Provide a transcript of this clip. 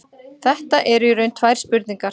Þetta eru í raun tvær spurningar.